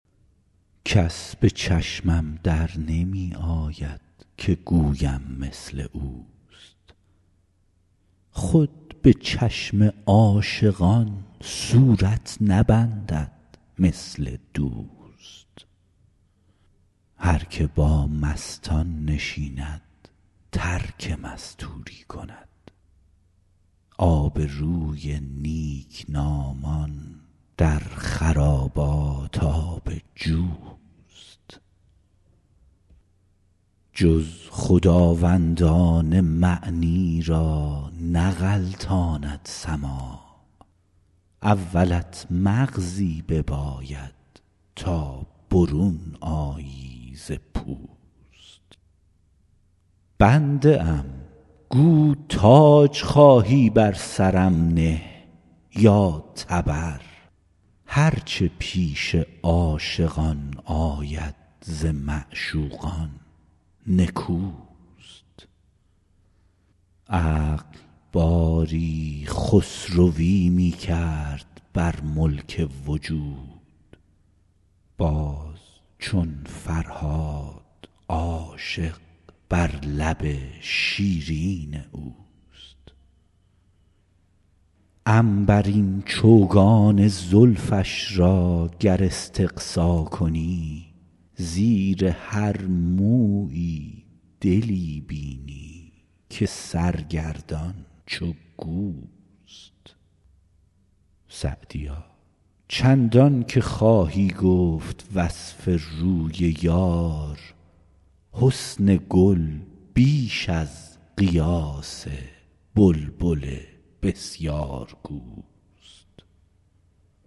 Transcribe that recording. کس به چشمم در نمی آید که گویم مثل اوست خود به چشم عاشقان صورت نبندد مثل دوست هر که با مستان نشیند ترک مستوری کند آبروی نیکنامان در خرابات آب جوست جز خداوندان معنی را نغلطاند سماع اولت مغزی بباید تا برون آیی ز پوست بنده ام گو تاج خواهی بر سرم نه یا تبر هر چه پیش عاشقان آید ز معشوقان نکوست عقل باری خسروی می کرد بر ملک وجود باز چون فرهاد عاشق بر لب شیرین اوست عنبرین چوگان زلفش را گر استقصا کنی زیر هر مویی دلی بینی که سرگردان چو گوست سعدیا چندان که خواهی گفت وصف روی یار حسن گل بیش از قیاس بلبل بسیارگوست